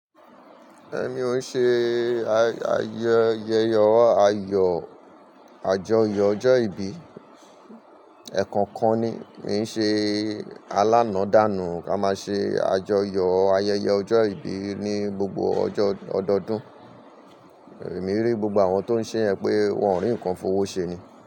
Èmi ò ṣe ayẹ Ọ ayọ̀, àjọyọ̀ ọjọ́ ìbí ẹ̀kọ̀kan ni. Mì ń ṣe alána dànù kí a máa ṣe àjọyọ̀ ayẹyẹ ọjọ́ ìbí ní gbogbo ọjọ́ ọdọdún. Èmi rí gbogbo àwọn tó ń ṣe ẹ pé wọ́n ń rí nǹkan fowó ṣe ni.